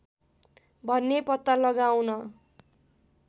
भन्ने पत्ता लगाउन